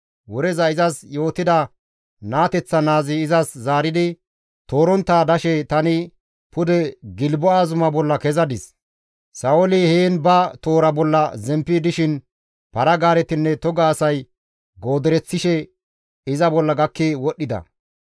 Woreza izas yootida naateththa naazi izas zaaridi, «Toorontta dashe tani pude Gilbo7a zuma bolla kezadis; Sa7ooli heen ba toora bolla zemppi dishin para-gaaretinne toga asay goodereththishe iza bolla gakki wodhdhida.